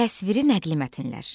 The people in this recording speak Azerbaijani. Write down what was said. Təsviri nəqli mətnlər.